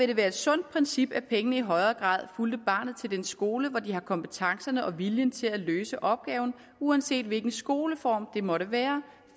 det være et sundt princip at pengene i højere grad fulgte barnet til dets skole hvor de har kompetencerne og viljen til at løse opgaven uanset hvilken skoleform det måtte være